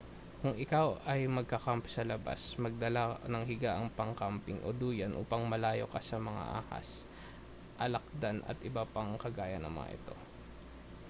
kung ikaw ay magka-camp sa labas magdala ng higaang pang-camping o duyan upang malayo ka sa mga ahas alakdan at iba pang kagaya ng mga ito